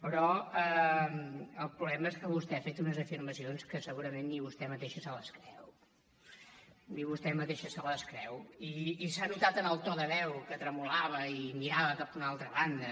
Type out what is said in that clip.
però el problema és que vostè ha fet unes afirmacions que segurament ni vostè mateixa se les creu ni vostè mateixa se les creu i s’ha notat en el to de veu que tremolava i mirava cap a una altra banda